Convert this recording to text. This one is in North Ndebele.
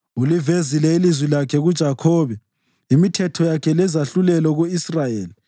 Ulivezile ilizwi lakhe kuJakhobe, imithetho yakhe lezahlulelo ku-Israyeli.